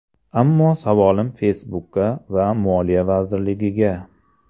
Ammo savolim Facebook’ga va moliya vazirligiga.